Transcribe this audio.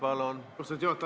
Austatud juhataja!